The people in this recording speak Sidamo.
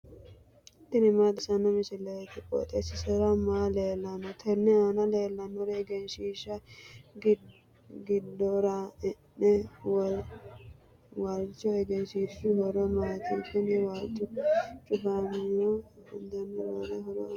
tini maa xawissanno misileeti? qooxeessisera may leellanno? tenne aana leellannori egenshiishshahonna giddora e'nanni waalchooti. egenshiishshu horo maati? kuni waalchu cufamironso fa'namirooti roore horo aannonkehu?